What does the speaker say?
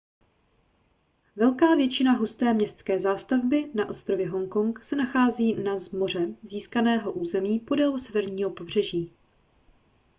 velká většina husté městské zástavby na ostrově hongkong se nachází na z moře získaném území podél severního pobřeží